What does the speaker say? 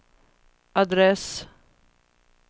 adress